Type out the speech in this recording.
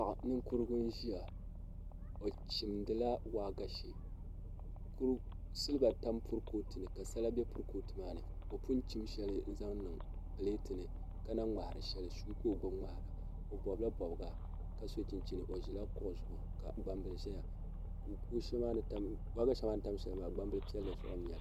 Paɣa ninkurigu n ʒiya o chimdila waagashe silba tam kurifooti ni ka sala bɛ kurifooti maa ni o pun chim shɛli n zaŋ niŋ pileet ni ka na ŋmahari shɛli suu ka o gbubi ŋmahara o bobla bobga ka so chinchin ka gbambili ʒɛya waagashe maa ni tam shɛli zuɣu maa gbambili piɛlli n nyɛli